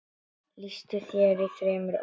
Lýstu þér í þremur orðum.